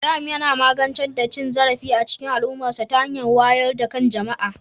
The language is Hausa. Ibrahim yana magance cin zarafi a cikin al'ummarsa ta hanyar wayar da kan jama'a